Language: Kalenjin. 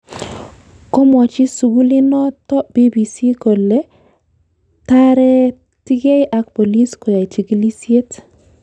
Komwachi sukulinoto BBC kole taretigei ak bolis koyai chigilisyet